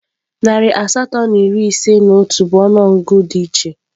Narị asatọ na iri ise na otu bụ ọnụọgụgụ di iche.